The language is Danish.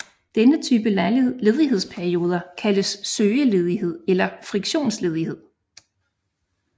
Denne type ledighedsperioder kaldes søgeledighed eller friktionsledighed